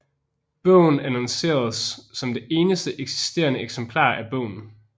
Bogen annonceredes som det eneste eksisterende eksemplar af bogen